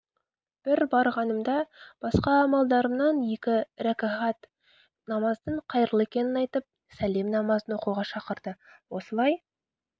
бір барғанымда басқа амалдарымнан екі рәкағат намаздың қайырлы екенін айтып сәлем намазын оқуға шақырды осылай